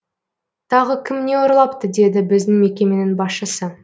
тағы кім не ұрлапты деді біздің мекеменің басшысы